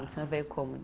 O senhor veio como?